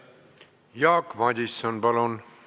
Jaak Madison, palun!